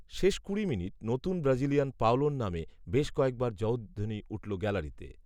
শেষ কুড়ি মিনিট, নতুন ব্রাজিলিয়ান পাওলোর নামে, বেশ কয়েকবার জয়ধ্বনি উঠল গ্যালারিতে